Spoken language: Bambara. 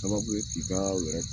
Sababu ye k'i ka wɛrɛ